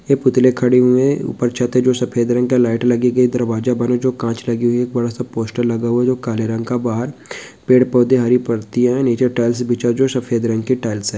ये पुतले खड़े हुए हैं। उपर छत है जो सफ़ेद रंग का है लाइट लगी गई दरवाजा बना है जो की कांच लगी हुई है एक बड़ा सा पोस्टर लगा हुआ है जो की काले रंग का है बाहर पेड़-पौधे हरी पत्तीया हैं नीचे टाइल्स बिछा है जो सफ़ेद रंग के टाइल्स हैं।